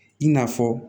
I n'a fɔ